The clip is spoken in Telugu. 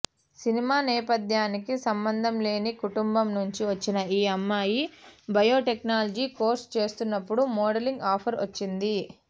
సినిమా నేపద్యానికి సంభంధంలేని కుటుంబం నుంచి వచ్చిన ఈ అమ్మాయి బయోటెక్నాలిజీ కోర్స్ చేస్తున్నప్పుడు మోడలింగ్ ఆఫర్ వచ్చింది